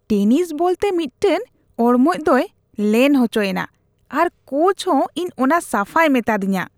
Tennis ᱵᱚᱞᱛᱮ ᱢᱤᱫᱴᱟᱝ ᱚᱲᱢᱚᱡ ᱫᱚᱭ ᱞᱮᱱ ᱚᱪᱚᱭᱮᱱᱟ ᱟᱨ ᱠᱳᱪ ᱫᱚ ᱤᱧ ᱚᱱᱟ ᱥᱟᱯᱷᱟᱭ ᱢᱮᱛᱟᱫᱤᱧᱟ ᱾